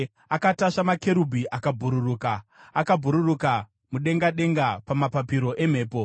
Akatasva makerubhi akabhururuka; akabhururuka mudenga denga pamapapiro emhepo.